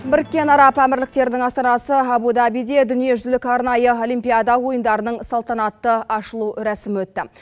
біріккен араб әмірліктерінің астанасы абу дабиде дүниежүзілік арнайы олимпиада ойындарының салтанатты ашылу рәсімі өтті